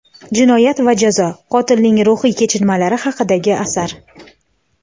"Jinoyat va jazo" — qotilning ruhiy kechinmalari haqidagi asar.